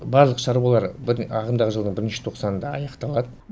барлық шаруалар ағымдағы жылдың бірінші тоқсанында аяқталады